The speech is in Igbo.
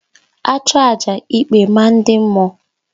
A chụọ àjà ikpe maa ndị mmụọ